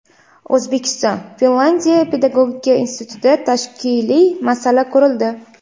O‘zbekiston-Finlyandiya pedagogika institutida tashkiliy masala ko‘rildi.